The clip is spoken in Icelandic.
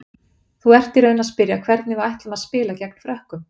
Þú ert í raun að spyrja hvernig við ætlum að spila gegn Frökkum?